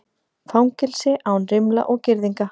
Fangelsi án rimla og girðinga